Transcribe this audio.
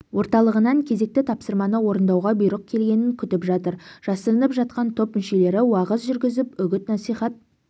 орталығынан кезекті тапсырманы орындауға бұйрық келгенін күтіп жатыр жасырынып жатқан топ мүшелері уағыз жүргізіп үгіт-насихат